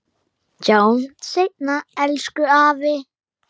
Sjáumst seinna, elsku afi.